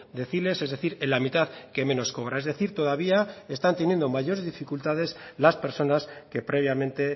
deciles es decir en la mitad que menos cobra es decir todavía están teniendo mayores dificultades las personas que previamente